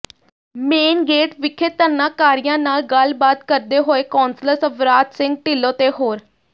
main gate ਵਿਖੇ ਧਰਨਾਕਾਰੀਆਂ ਨਾਲ ਗੱਲਬਾਤ ਕਰਦੇ ਹੋਏ ਕੋਂਸਲਰ ਸਵਰਾਜ ਸਿੰਘ ਢਿੱਲੋਂ ਤੇ ਹੋਰ